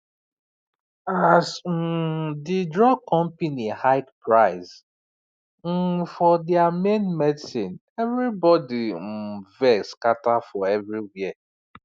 as um the drug company hike price um for dir main medicine everybody um vex scatter for everywhere